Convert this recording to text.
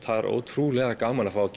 það er ótrúlega gaman að fá að